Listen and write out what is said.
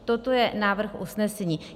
Toto je návrh usnesení.